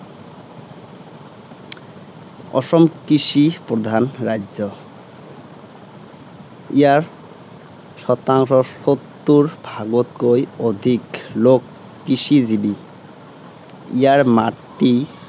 অসম কৃষি প্ৰধান ৰাজ্য। ইয়াৰ শতাংশ সত্তৰ ভাগতকৈ অধিক লােক কৃষিজীৱী। ইয়াৰ মাটি